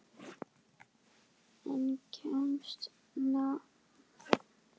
En kemst málið á dagskrá?